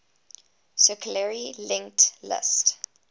circularly linked list